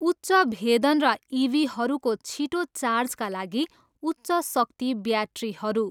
उच्च भेदन र इभीहरूको छिटो चार्जका लागि उच्च शक्ति ब्याट्रीहरू।